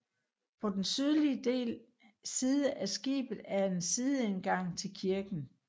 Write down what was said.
På den sydlige side af skibet er en sideindgang til kirken